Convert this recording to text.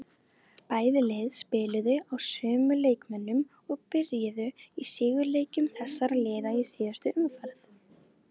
Bæði lið spiluðu á sömu leikmönnum og byrjuðu í sigurleikjum þessara liða í síðustu umferð.